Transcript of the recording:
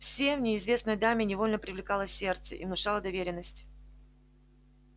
все в неизвестной даме невольно привлекало сердце и внушало доверенность